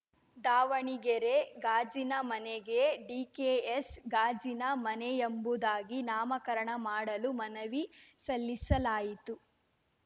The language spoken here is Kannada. ದಾವಣಗೆರೆ ಗಾಜಿನ ಮನೆಗೆ ಡಿಕೆಎಸ್‌ ಗಾಜಿನ ಮನೆಯೆಂಬುದಾಗಿ ನಾಮಕರಣ ಮಾಡಲು ಮನವಿ ಸಲ್ಲಿಸಲಾಯಿತು